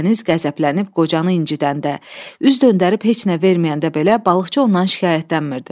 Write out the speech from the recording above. Dəniz qəzəblənib qocanı incidəndə, üz döndərib heç nə verməyəndə belə balıqçı ondan şikayətlənmirdi.